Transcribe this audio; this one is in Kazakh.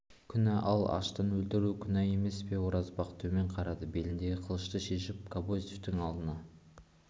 күнә ал аштан өлтіру күнә емес пе оразбақ төмен қарады беліндегі қылышты шешіп кобозевтің алдына